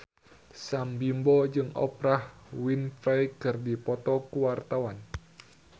Sam Bimbo jeung Oprah Winfrey keur dipoto ku wartawan